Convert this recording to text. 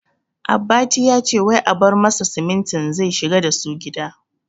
Abbati yace wai a bar masa simintin zai shigar dasu gida